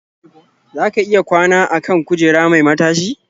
Za ka iya kwana a kan kujera mai matashi.